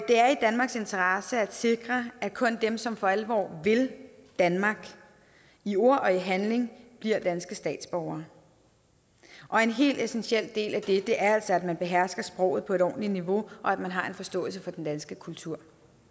det er i danmarks interesse at sikre at kun dem som for alvor vil danmark i ord og i handling bliver danske statsborgere og en helt essentiel del af det er altså at man behersker sproget på et ordentligt niveau og at man har en forståelse for den danske kultur